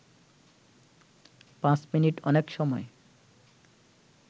পাঁচ মিনিট অনেক সময়